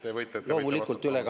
Te võite …